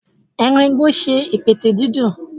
Eran igbo ṣe ipẹtẹ didun.